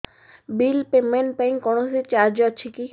bill payment ପାଇଁ କୌଣସି charge ଅଛି କି